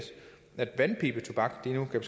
at vandpibetobak nu kan